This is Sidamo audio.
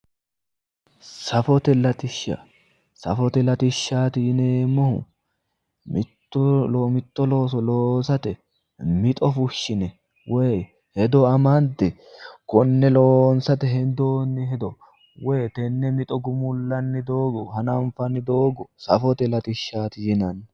safote latishsha safote latishshaati yineemmohu mitto looso loosate mixo fushshine woyi hedo amande konne loosate hendoonni hedo woyi tenni mixo gumullanni doogo hananfanni doogo safote latishshaati yinanni.